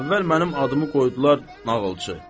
Əvvəl mənim adımı qoydular nağılçı.